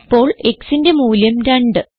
ഇപ്പോൾ xന്റെ മൂല്യം 2